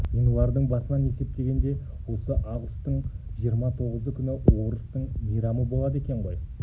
ғинуардың басынан есептегенде осы ағұстың жиырма тоғызы күні орыстың мейрамы болады екен ғой